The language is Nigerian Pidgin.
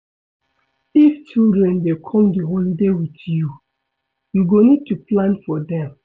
If children dey come di holiday with you, you go need to plan for dem